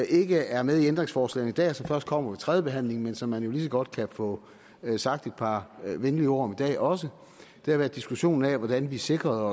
ikke er med i ændringsforslagene i dag og som først kommer ved tredjebehandlingen men som man jo lige så godt kan få sagt et par venlige ord om i dag også det har været diskussionen af hvordan vi sikrede